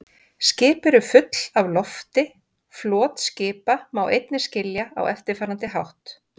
Skip eru full af lofti Flot skipa má einnig skilja á eftirfarandi hátt.